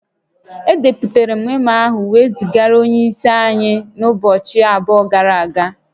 Edepụtara memo ahụ wee zigara onye isi anyị n'ụbọchị abụọ gara aga